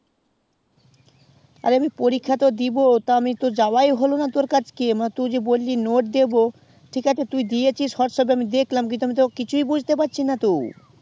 আরে আমি পরীক্ষা তো দিবো তো আমি তো যাওয়া তো হলো না তোর কাছে তুই জি বললি note দেব ঠিক আছে তুই দিয়েছি whatsapp এ আমি দেখলাম তো আমি কিছু বুঝতে পারছি না তো